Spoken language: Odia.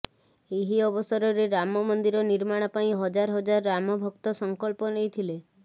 ଏହି ଅବସରରେ ରାମ ମନ୍ଦିର ନିର୍ମାଣ ପାଇଁ ହଜାର ହଜାର ରାମଭକ୍ତ ସଂକଳ୍ପ ନେଇଥିଲେ